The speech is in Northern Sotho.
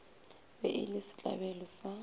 be e le setlabelo sa